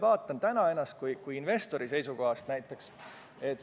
Vaatame täna seda näiteks investori seisukohast.